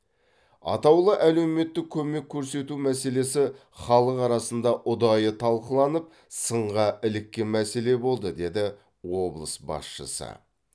атаулы әлеуметтік көмек көрсету мәселесі халық арасында ұдайы талқыланып сынға іліккен мәселе болды деді облыс басшысы